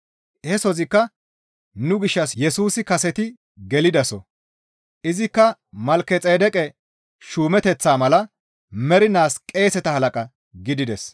He soozikka nu gishshas Yesusi kaseti gelidaso; izikka Malkexeedeqe shuumeteththaa mala mernaas qeeseta halaqa gidides.